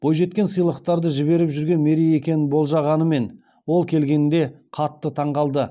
бойжеткен сыйлықтарды жіберіп жүрген мерей екенін болжағанымен ол келгенде қатты таңғалды